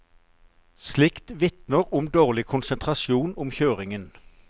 Slikt vitner om dårlig konsentrasjon om kjøringen.